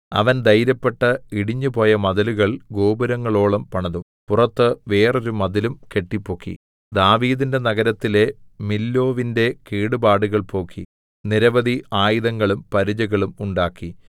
അവൻ ധൈര്യപ്പെട്ട് ഇടിഞ്ഞുപോയ മതിലുകൾ ഗോപുരങ്ങളോളം പണിതു പുറത്ത് വേറൊരു മതിലും കെട്ടിപ്പൊക്കി ദാവീദിന്റെ നഗരത്തിലെ മില്ലോവിന്റെ കേടുപാടുകൾ പോക്കി നിരവധി ആയുധങ്ങളും പരിചകളും ഉണ്ടാക്കി